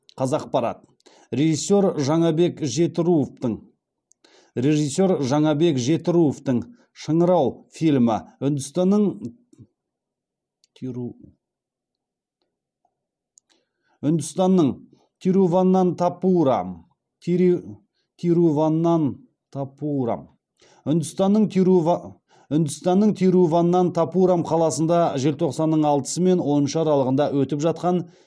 қазақпарат режиссер жаңабек жетіруовтың шыңырау фильмі үндістанның тируванантапурам қаласында желтоқсанның алтысы мен он үші аралығында өтіп жатқан